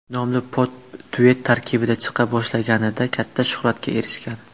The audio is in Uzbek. nomli pop-duet tarkibida chiqa boshlaganida katta shuhratga erishgan.